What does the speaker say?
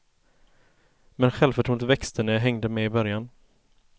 Men självförtroendet växte när jag hängde med i början.